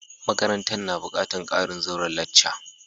Makarantan na bukatan karin zauren lacca.